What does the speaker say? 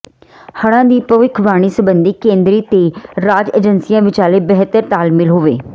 ਹੜ੍ਹਾਂ ਦੀ ਭਵਿੱਖਬਾਣੀ ਸਬੰਧੀ ਕੇਂਦਰੀ ਤੇ ਰਾਜ ਏਜੰਸੀਆਂ ਵਿਚਾਲੇ ਬਿਹਤਰ ਤਾਲਮੇਲ ਹੋਵੇ